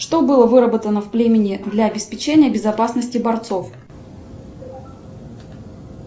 что было выработано в племени для обеспечения безопасности борцов